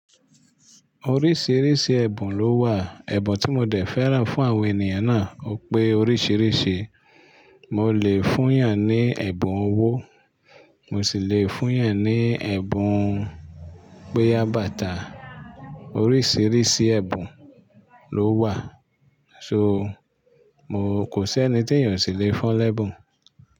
Oríṣìíríṣìí ẹ̀bùn ló wà. Ẹ̀bùn tí mo dẹ̀ fẹ́ràn fún àwọn ènìyàn náà ò pé oríṣìíríṣìí. Mo lè fún ìyàn ní ẹ̀bùn owó, mo sì le fún yàn ní ẹ̀bùn péyábátà. Oríṣìíríṣìí ẹ̀bùn ló wà, so kò sí ẹni tí ènìyàn sì le fọ́n lẹ́bùn.